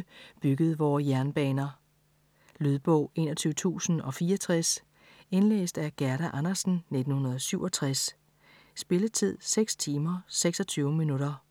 1850-1920 byggede vore jernbaner. Lydbog 21064 Indlæst af Gerda Andersen, 1967. Spilletid: 6 timer, 26 minutter.